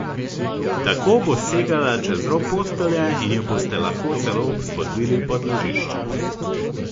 Tako bo segala čez rob postelje in jo boste lahko celo spodvili pod ležišče.